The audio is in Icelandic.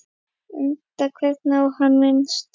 Enda hvergi á hann minnst.